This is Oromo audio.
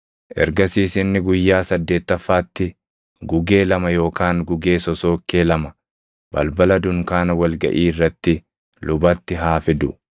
Ergasiis inni guyyaa saddeettaffaatti gugee lama yookaan gugee sosookkee lama balbala dunkaana wal gaʼii irratti lubatti haa fidu.